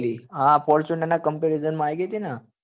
હા fortuner નાં comparison માં આયી ગઈ હત ને